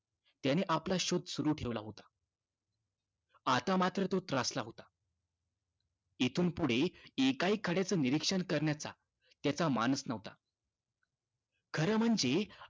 त्यानं आपला शोध सुरू ठेवला होता. आता मात्र तो त्रासला होता. इथून पुढे एकाही खड्याचं निरीक्षण करण्याचा त्याचा मानस नव्हता. खरं म्हणजे